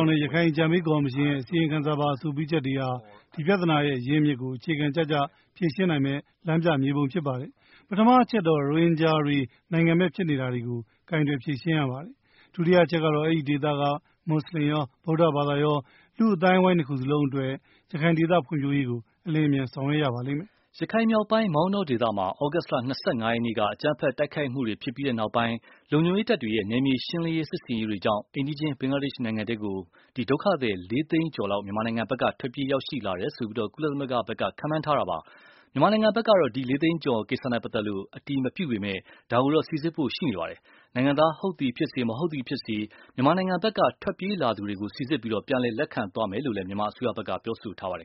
်တဲ့ ရခိုင်အကြံပေးကော်မရှင်ရဲ့ အစီရင်ခံစာပါ အဆိုပြုချက်တွေဟာ ဒီပြဿနာရဲ့ရင်းမြစ်ကို အခြေခံကျကျ ဖြေရှင်းနိုင်မယ့် လမ်းပြေမြေပုံဖြစ်ပါတယ်။ ပထမအချက်တော့ ရိုဟင်ဂျာတွေ နိုင်ငံမဲ့ဖြစ်နေတာကို ကိုင်တွယ်ဖြေရှင်းရပါတယ်။ ဒုတိယအချက်ကတော့ အဲဒီဒေသက မွတ်ဆလင်ရော ဗုဒဘာသာရော လူမှုအဝိုင်းအဝိုင်းနှစ်ခုလုံးအတွက် ရခိုင်ဒေသဖွံဖြိုးရေးကို အလျင်အမြန်ဆောင်ရွက် ရပါမယ်။” ရခိုင်မြောက်ပိုင်း မောင်တောဒေသမှာ သြဂုတ်လ ၂၅ရက်နေ့က အကြမ်းဖက် တိုက်ခိုက်မှုတွေဖြစ်ပြီးတဲ့နောက် လုံခြုံရေးတပ်တွေရဲ့ နယ်မြေရှင်းလင်းရေး စစ်ဆင်ရေးတွေကြောင့် အိမ်နီးချင်းဘင်္ဂလားဒေ့ရ်ှနိုင်ငံထဲကကို ဒုက္ခသည် လေးသိန်းကျော် မြန်မာနိုင်ငံ ဖက်က ထွက်ပြေးရောက်ရှိလာတယ်လို့ ကုလသမဂ္ဂဖက်က ခန့်မှန်းထားတာပါ။ မြန်မာဖက်ကတော့ ဒီအရေအတွက် အတည်ပြုပြောဆိုတာမရှိပေမယ့် စီစစ်သွားဖို့တော့ရှိပါတယ်။ နိုင်ငံသားဟုတ်သည်ဖြစ်စေ မဟုတ်သည်ဖြစ်စေ မြန်မာနိုင်ငံဖက်က ထွက်ပြေးလာသူလို့ စီစစ်အတည်ပြုနိုင်ရင် ပြန်လည်လက်ခံခေါ်ယူဖို့ရှိတယ်လို့ မြန်မာခေါင်းဆောင်တွေက ပြောထားပါတယ်။